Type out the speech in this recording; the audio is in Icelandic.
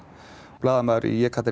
blaðamaður